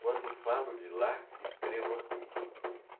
Quando falo de lá, escrevo aqui.